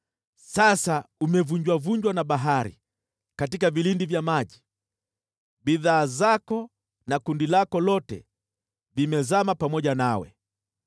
Sasa umevunjavunjwa na bahari, katika vilindi vya maji, bidhaa zako na kundi lako lote vimezama pamoja nawe.